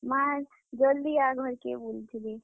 ମାଁ, ଜଲ୍ ଦି ଆ ଘର୍ କେ ବଲୁଥିଲେ।